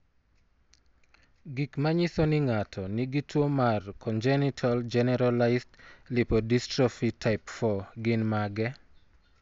Gik manyiso ni ng'ato nigi tuwo mar Congenital generalized lipodystrophy type 4 gin mage?